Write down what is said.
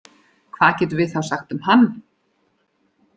Hvað getum við þá sagt um hann?